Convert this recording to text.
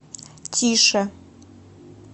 тише